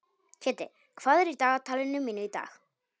Kiddi, hvað er í dagatalinu mínu í dag?